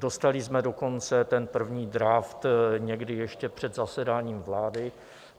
Dostali jsme dokonce ten první draft někdy ještě před zasedáním vlády.